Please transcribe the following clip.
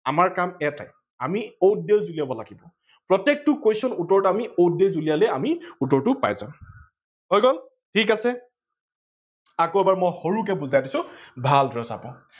আমাৰ কাম এটাই আমি odd days উলিয়াব লাগিব। প্ৰতেকটো question উত্তৰত আমি odd days উলিয়ালে আমি উত্তৰটো পাই যাম। হৈ গল, ঠিক আছে? আকৌ এবাৰ মই সৰুকৈ বুজাই দিছো ভালদৰে চাব।